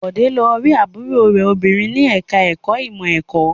Bọ̀dé lọ rí àbúrò rẹ̀ obìnrin ní ẹ̀ka-ẹ̀kọ́ ìmọ̀-ẹ̀kọ́.